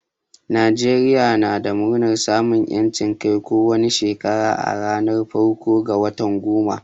Najeriya na murnar samun yancin Kai ko wani Shekara a ranar farko ga watan goma.